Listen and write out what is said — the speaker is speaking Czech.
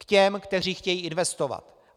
K těm, kteří chtějí investovat.